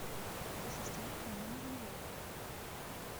ассистент мне нужен электрик